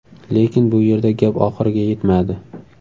Lekin bu yerda gap oxiriga yetmadi.